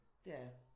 Det er jeg